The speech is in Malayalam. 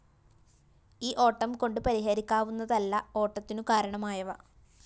ഈ ഓട്ടംകൊണ്ട് പരിഹരിക്കാവുന്നതല്ല ഓട്ടത്തിനു കാരണമായവ